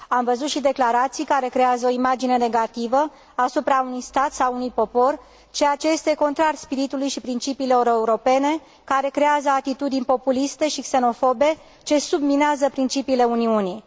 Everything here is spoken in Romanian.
Am văzut și declarații care creează o imagine negativă asupra unui stat sau a unui popor, ceea ce este contrar spiritului și principiilor europene, și care creează atitudini populiste și xenofobe, ce subminează principiile Uniunii.